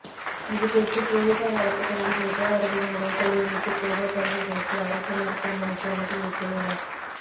இதுகுறித்து போலீசார் வழக்குப்பதிவு செய்து அவர்களின் உடல்களை மீட்டு பிரேத பரிசோதனைக்கு அரசுமருத்துவமனைக்கு அனுப்பி வைத்துள்ளனர்